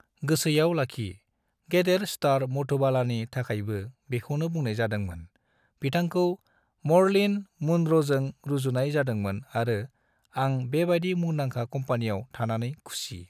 गोसोयाव लाखि, गेदेर स्टार मधुबालानि थाखायबो बेखौनो बुंनाय जादोंमोन, बिथांखौ मर्लिन मुनरोजों रुजुनाय जादोंमोन आरो आं बेबादि मुंदांखा कम्पानियाव थानानै खुसि!